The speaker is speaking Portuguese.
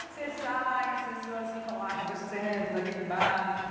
Você sai, as pessoas ficam lá conversando naquele bar.